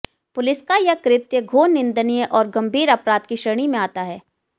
पुलिसका यह कृत्य घोर निंदनीय और गंभीर अपराध की श्रेणी में आता है